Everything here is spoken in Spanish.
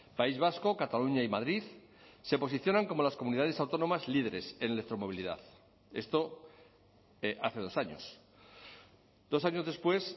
país vasco cataluña y madrid se posicionan como las comunidades autónomas líderes en electromovilidad esto hace dos años dos años después